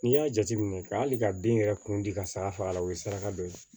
N'i y'a jateminɛ ka hali ka bin yɛrɛ kun di ka sara fa a la o ye saraka dɔ ye